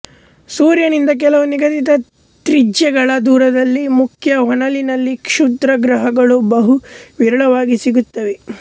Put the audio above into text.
ಸೂರ್ಯನಿಂದ ಕೆಲವು ನಿಗದಿತ ತ್ರಿಜ್ಯಗಳ ದೂರದಲ್ಲಿ ಮುಖ್ಯ ಹೊನಲಿನಲ್ಲಿ ಕ್ಷುದ್ರಗ್ರಹಗಳು ಬಹು ವಿರಳವಾಗಿ ಸಿಗುತ್ತವೆ